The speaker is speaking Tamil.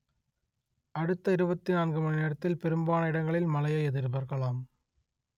அடுத்த இருபத்தி நான்கு மணி நேரத்தில் பெரும்பாலான இடங்களில் மழையை எதிர்பார்க்கலாம்